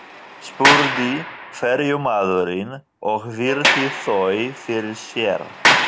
spurði ferjumaðurinn og virti þau fyrir sér.